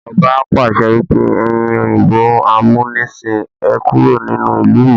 Ọba pàṣẹ wípé "ẹyin òyìnbó amunisin, Ẹ kúrò nínú ìlú mi!